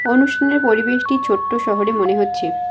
অনুষ্ঠানের পরিবেশটি ছোট্ট শহরে মনে হচ্ছে।